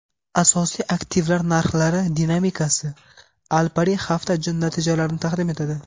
asosiy aktivlar narxlari dinamikasi - Alpari hafta natijalarini taqdim etadi.